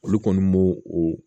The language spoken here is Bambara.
Olu kɔni m'o o